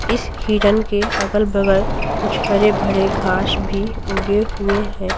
इस हिरन के अगल-बगल कुछ हरे भरे घास भी उगे हुए हैं।